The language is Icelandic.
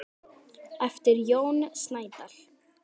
eftir Jón Snædal